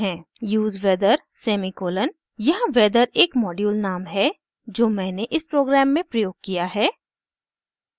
use weather semicolon यहाँ weather एक module नाम है जो मैंने इस प्रोग्राम में प्रयोग किया है